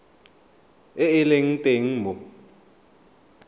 e e leng teng mo